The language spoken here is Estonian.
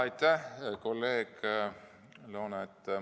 Aitäh, kolleeg Loone!